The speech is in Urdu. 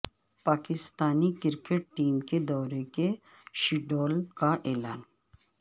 پاکستانی کرکٹ ٹیم کے دورے کے شیڈول کا اعلان